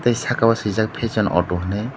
ow saka o swijak fashion auto henai.